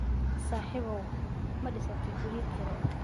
Saaxiibow, ma dhisatay guryo kiro ah?